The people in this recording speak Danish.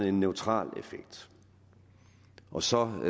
en neutral effekt og så